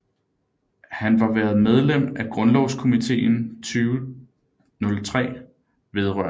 Han var været medlem af Grundlovskomiteen 2003 vedr